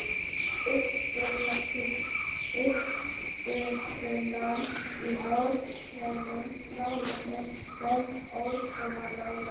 Um upprunann í norrænum málum eru menn ósammála.